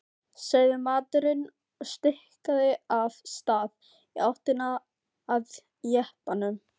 sagði maðurinn og stikaði af stað í áttina að jeppanum.